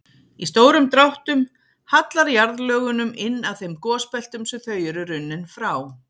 Í stórum dráttum hallar jarðlögunum inn að þeim gosbeltum sem þau eru runnin frá.